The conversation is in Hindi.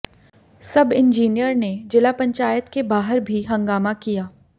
सब इंजीनियर ने जिला पंचायत के बाहर भी हंगामा किया